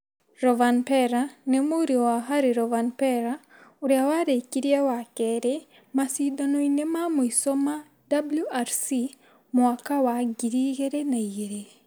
Rovanpera nĩ mũriũ wa Hari Rovanpera, ũrĩa warekirie wa kerĩ macindano-inĩ ma mũico wa WRC mwaka wa ngiri igĩrĩ na igĩrĩ.